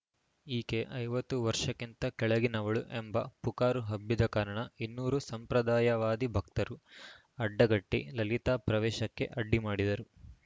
ಈಕೆ ಐವತ್ತು ವರ್ಷಕ್ಕಿಂತ ಕೆಳಗಿನವಳು ಎಂಬ ಪುಕಾರು ಹಬ್ಬಿದ ಕಾರಣ ಇನ್ನೂರು ಸಂಪ್ರದಾಯವಾದಿ ಭಕ್ತರು ಅಡ್ಡಗಟ್ಟಿಲಲಿತಾ ಪ್ರವೇಶಕ್ಕೆ ಅಡ್ಡಿ ಮಾಡಿದರು